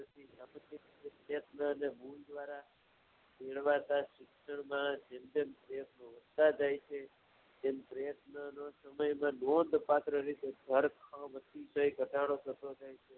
ગુરૂદ્વારા મેળવાતા શિક્ષણમા જેમતેમ તેમ પ્ર્યત્નમા તો એમાં નોધપાત્ર રીતે અતિશય ઘટાડો થતો જાય છે